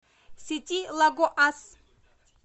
сети лагоас